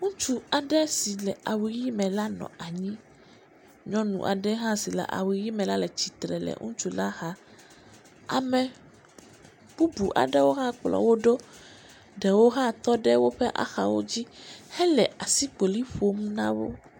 Ŋutsu aɖe si le awu ʋɛ̃ me la nɔ anyi, nyɔnu aɖe hã si le awu ʋɛ̃ me la le tsitre le ŋutsu la xa. Ame bubu aɖewo hã kplɔ wo ɖo, ɖewo hã wotɔ woƒe axawo dzi hele asikpoli ƒom na wo.